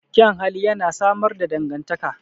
Kyan hali yana samar da dangantaka.